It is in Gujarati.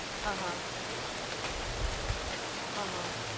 આહ આહ